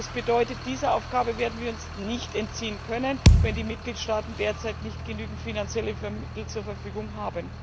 Das bedeutet, dieser Aufgabe werden wir uns nicht entziehen können, wenn die Mitgliedstaaten derzeit nicht genügend finanzielle Mittel zur Verfügung haben.